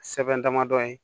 Sɛbɛn damadɔ ye